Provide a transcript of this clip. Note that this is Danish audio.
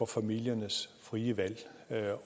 familieliv